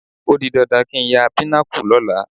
Ó di dandan kí n ya Pinnacle lọ́la